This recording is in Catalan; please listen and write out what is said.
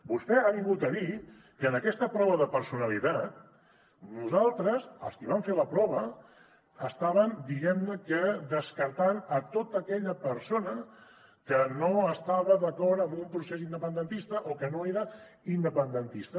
vostè ha vingut a dir que en aquesta prova de personalitat nosaltres els qui vam fer la prova estàvem diguem ne que descartant tota aquella persona que no estava d’acord amb un procés independentista o que no era independentista